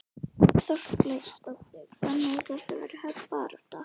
Þórhildur Þorkelsdóttir: Þannig að þetta verður hörð barátta?